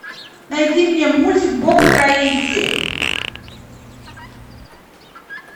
найди мне мультик боб строитель